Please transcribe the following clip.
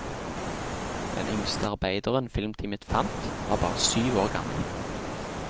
Den yngste arbeideren filmteamet fant, var bare syv år gammel.